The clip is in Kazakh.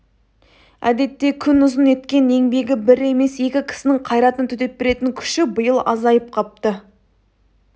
әдетте күнұзын еткен еңбегі бір емес екі кісінің қайратына төтеп беретін күші биыл азайып қапты